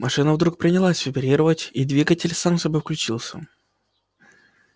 машина вдруг принялась вибрировать и двигатель сам собой включился